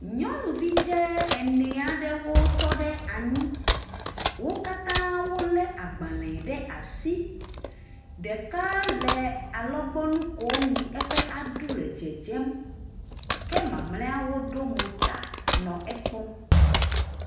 Nyɔnuvi dze ene aɖewo tɔ ɖe anyi. Wo katã wolé agbalẽ ɖe asi. Ɖeka le alɔgbɔnu kom yi eƒe aɖu le dzedzem ke mamlɛawo ɖo mo ta nɔ ekpɔm.